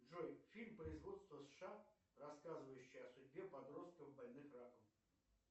джой фильм производства сша рассказывающий о судьбе подростков больных раком